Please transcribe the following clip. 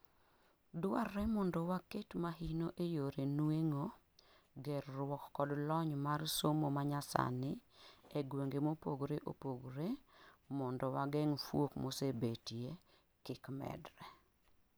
duarre mondo waket mahino eyore nueng'o, gerruok kod lony mar somo manyasani egwenge mopogre opogre mondo wageng' fuok mosebetie kik medre